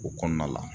O kɔnɔna la